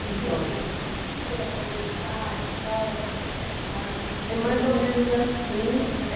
Então. Eu entendi, mas assim o tipo da comunidade e tal, é assim, é casas assim? É mais ou menos assim. Mais ou